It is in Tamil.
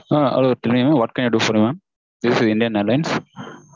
Ah Hello what can i do for you madam. This is Indian airlines